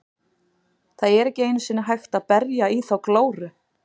Það er ekki einu sinni hægt að berja í þá glóru.